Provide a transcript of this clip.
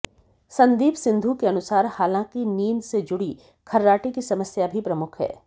संदीप सिंधु के अनुसार हालांकि नींद से जुड़ी खरार्टे की समस्या भी प्रमुख है